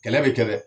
Kɛlɛ bɛ kɛ dɛ